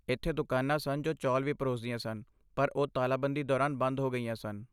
ਇੱਥੇ ਦੁਕਾਨਾਂ ਸਨ ਜੋ ਚੌਲ ਵੀ ਪਰੋਸਦੀਆਂ ਸਨ, ਪਰ ਉਹ ਤਾਲਾਬੰਦੀ ਦੌਰਾਨ ਬੰਦ ਹੋ ਗਈਆਂ ਸਨ।